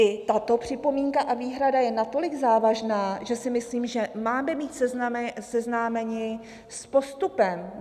I tato připomínka a výhrada je natolik závažná, že si myslím, že máme být seznámeni s postupem.